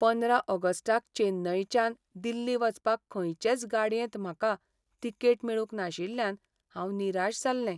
पंदरा ऑगस्टाक चेन्नयच्यान दिल्ली वचपाक खंयचेच गाडयेंत म्हाका.तिकेट मेळूंक नाशिल्ल्यान हांव निराश जाल्लें.